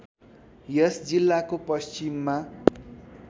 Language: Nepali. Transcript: यस जिल्लाको पश्चिममा